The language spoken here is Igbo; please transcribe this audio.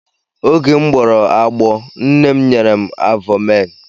Oge m gbọrọ agbọọ, nne m nyere m avọmaịn.